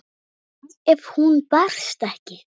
Hvað ef hún berst ekki?